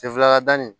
Sen fila dani